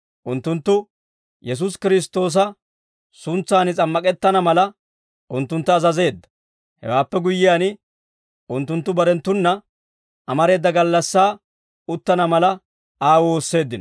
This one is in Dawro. Unttunttu Yesuusi Kiristtoosa suntsan s'ammak'ettana mala, unttuntta azazeedda; hewaappe guyyiyaan, unttunttu barenttuna amareeda gallassaa uttana mala, Aa woosseeddino.